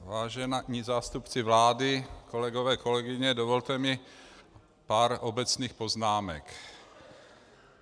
Vážení zástupci vlády, kolegové, kolegyně, dovolte mi pár obecných poznámek.